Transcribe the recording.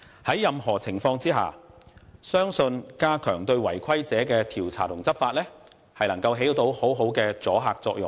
在任何情況下，我相信加強對違規者的調查及執法，將能發揮很好的阻嚇作用。